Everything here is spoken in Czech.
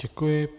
Děkuji.